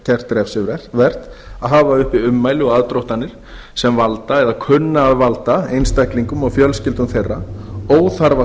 gert refsivert að hafa uppi ummæli eða aðdróttanir sem valda eða kunna að valda einstaklingum og fjölskyldum þeirra óþarfa